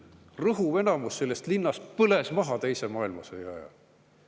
Rõhuv enamus sellest linnast põles teise maailmasõja ajal maha.